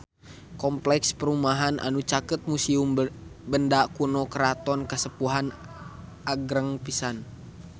Kompleks perumahan anu caket Museum Benda Kuno Keraton Kasepuhan agreng pisan